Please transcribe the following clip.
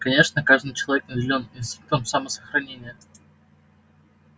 конечно каждый человек наделён инстинктом самосохранения